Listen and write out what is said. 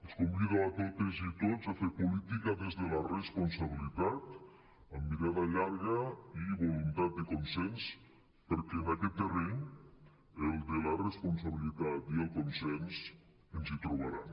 els convido a totes i tots a fer política des de la responsabilitat amb mirada llarga i voluntat de consens perquè en aquest terreny el de la responsabilitat i el consens ens hi trobaran